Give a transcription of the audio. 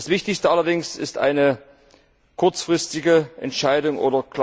Das Wichtigste allerdings ist eine kurzfristige Entscheidung bzw.